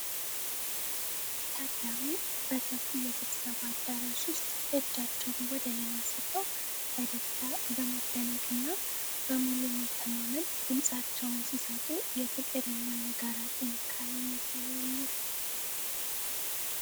ታዳሚው በሰፊ የስብሰባ አዳራሽ ውስጥ እጃቸውን ወደ ላይ አንስተው በደስታ፣ በመደነቅ እና በሙሉ መተማመን ድምጻቸውን ሲሰጡ የፍቅር እና የጋራ ጥንካሬን ያሳያሉ።